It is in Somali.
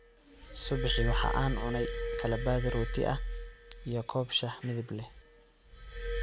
Subixii waxa aan cunay kala badh rooti ah iyo koob shaah midab leh